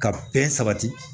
Ka bɛn sabati